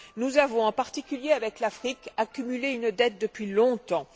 Nous avons, en particulier avec l'Afrique, accumulé une dette depuis longtemps.